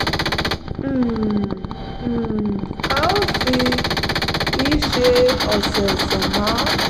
um um a ò fi í ṣe ọ̀sọ̀ọ̀sẹ̀ mọ́